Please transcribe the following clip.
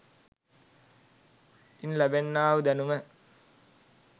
ඉන් ලබන්නා වූ දැනුම